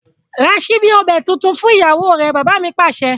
Ra síbi ọbẹ̀ tuntun fún ìyàwó rẹ! Bàbá mi Pàṣẹ.